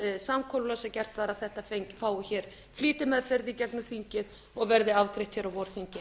samkomulag sem gert var að þetta fái flýtimeðferð í gegnum þingið og verði afgreitt á vorþingi